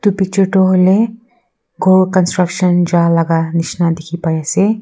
picture du huileh ghor construction ja laga nishina dikhi pai asey.